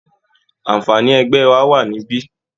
Àǹfààní ẹgbẹ́ wà níbí